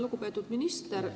Lugupeetud minister!